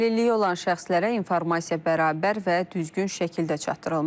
Əlilliyi olan şəxslərə informasiya bərabər və düzgün şəkildə çatdırılmalıdır.